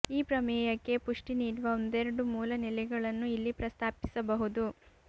ಈ ಪ್ರಮೇಯಕ್ಕೆ ಪುಷ್ಟಿ ನೀಡುವ ಒಂದೆರಡು ಮೂಲ ನೆಲೆಗಳನ್ನು ಇಲ್ಲಿ ಪ್ರಸ್ತಾಪಿಸಬಹುದು